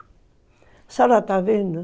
A senhora está vendo?